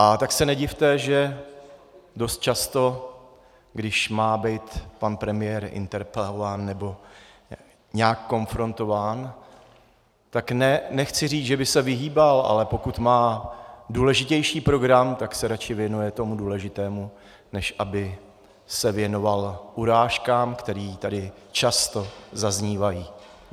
A tak se nedivte, že dost často, když má být pan premiér interpelován nebo nějak konfrontován, tak nechci říct, že by se vyhýbal, ale pokud má důležitější program, tak se radši věnuje tomu důležitému, než aby se věnoval urážkám, které tady často zaznívají.